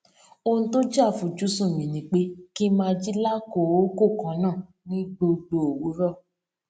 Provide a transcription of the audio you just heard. ohun tó jé àfojúsùn mi ni pé kí n máa jí lákòókò kan náà ní gbogbo òwúrò